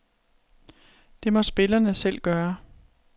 Det må spillerne selv gøre.